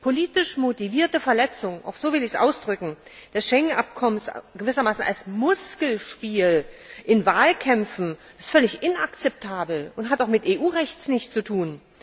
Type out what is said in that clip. Politisch motivierte Verletzung auch so will ich das ausdrücken das Schengen Abkommen gewissermaßen als Muskelspiel in Wahlkämpfen, ist völlig inakzeptabel und hat auch mit EU Recht nichts zu tun.